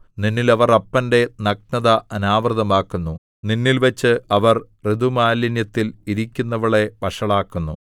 നിന്നിൽ അവർ അപ്പന്റെ നഗ്നത അനാവൃതമാക്കുന്നു നിന്നിൽവച്ച് അവർ ഋതുമാലിന്യത്തിൽ ഇരിക്കുന്നവളെ വഷളാക്കുന്നു